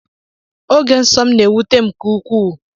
Oge nsọ m na-ewute m nke ukwuu.